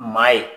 Maa ye